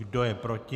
Kdo je proti?